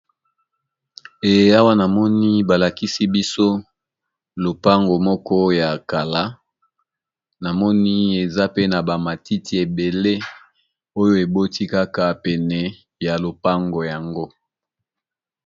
Eawa namoni balakisi biso lopango moko ya kala na moni eza pe na ba matiti ebele oyo eboti kaka pene ya lopango yango.